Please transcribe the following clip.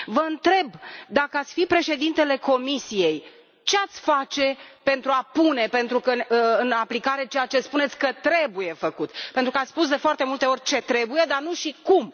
Vă întreb, dacă ați fi președintele Comisiei, ce ați face pentru a pune în aplicare ceea ce spuneți că trebuie făcut, pentru că ați spus de foarte multe ori ce trebuie făcut, dar nu și cum.